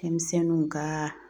Denmisɛnninw ka